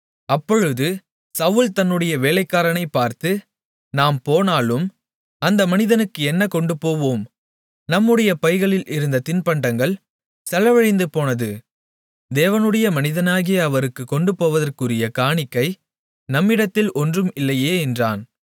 அப்பொழுது சவுல் தன்னுடைய வேலைக்காரனைப் பார்த்து நாம் போனாலும் அந்த மனிதனுக்கு என்ன கொண்டுபோவோம் நம்முடைய பைகளில் இருந்த தின்பண்டங்கள் செலவழிந்து போனது தேவனுடைய மனிதனாகிய அவருக்குக் கொண்டு போவதற்குரிய காணிக்கை நம்மிடத்தில் ஒன்றும் இல்லையே என்றான்